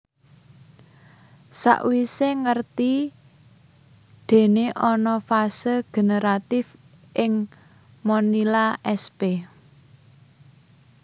Sakwise ngerti dene ana fase generatif ing Monilia sp